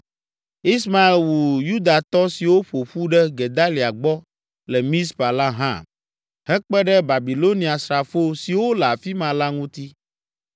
Ismael wu Yudatɔ siwo ƒo ƒu ɖe Gedalia gbɔ le Mizpa la hã, hekpe ɖe Babiloniasrafo siwo le afi ma la ŋuti.